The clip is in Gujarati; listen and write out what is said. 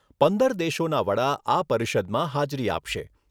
પંદર દેશોના વડા આ પરિષદમાં હાજરી આપશે.